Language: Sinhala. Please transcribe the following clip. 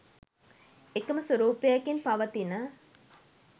එකම ස්වරූපයකින් පවතින